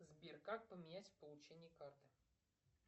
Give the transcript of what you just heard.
сбер как поменять получение карты